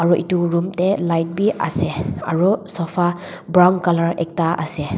itu room teh light bi ase aru sofa brown colour ekta ase.